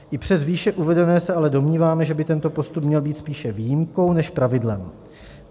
I přes výše uvedené se ale domníváme, že by tento postup měl být spíše výjimkou než pravidlem.